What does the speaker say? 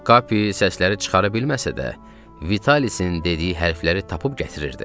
Kapi səsləri çıxara bilməsə də, Vitalisin dediyi hərfləri tapıb gətirirdi.